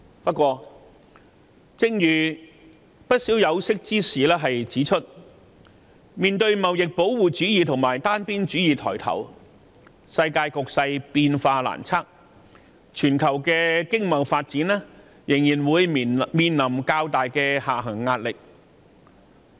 不過，正如不少有識之士指出，面對貿易保護主義及單邊主義抬頭，世界局勢變化難測，全球的經貿發展仍會面臨較大的下行壓力。